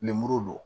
Lemuru don